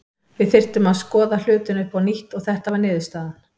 Við þurftum að skoða hlutina upp á nýtt og þetta var niðurstaðan.